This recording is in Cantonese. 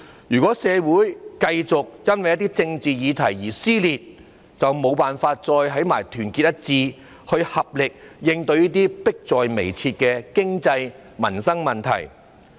如果社會繼續因為政治議題而撕裂，便無法團結一致，以合力應對這些迫在眉睫的經濟及民生問題。